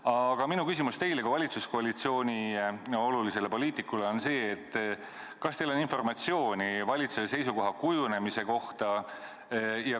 Aga minu küsimus teile kui valitsuskoalitsiooni olulisele poliitikule on selline: kas teil on informatsiooni valitsuse seisukoha kujunemise kohta?